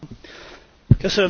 Biztos asszony!